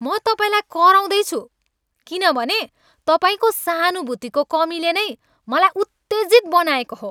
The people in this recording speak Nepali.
म तपाईँलाई कराउँदै छु किनभने तपाईँको सहानुभूतिको कमीले नै मलाई उत्तेजित बनाएको हो।